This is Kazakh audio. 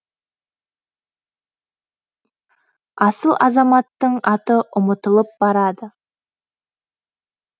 асыл азаматтың аты ұмытылып барады